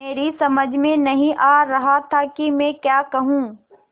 मेरी समझ में नहीं आ रहा था कि मैं क्या कहूँ